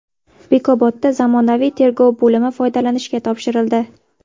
Bekobodda zamonaviy tergov bo‘limi foydalanishga topshirildi.